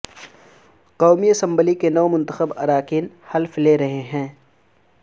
قومی اسمبلی کے نو منتخب اراکین حلف لے رہے ہیں